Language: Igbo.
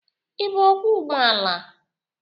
Ï bụ ọkwọ ụgbọ ala?